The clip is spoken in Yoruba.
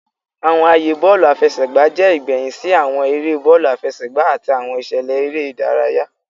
Awọn aaye bọọlu afẹsẹgba jẹ igbẹhin si awọn ere bọọlu afẹsẹgba ati awọn iṣẹlẹ ere idaraya.